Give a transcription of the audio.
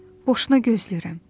Boşuna gözləyirəm.